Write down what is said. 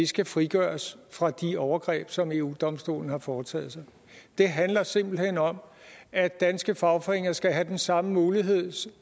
skal frigøres fra de overgreb som eu domstolen har foretaget sig det handler simpelt hen om at danske fagforeninger skal have den samme mulighed